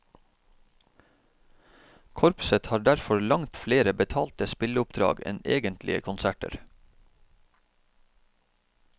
Korpset har derfor langt flere betalte spilleoppdrag enn egentlige konserter.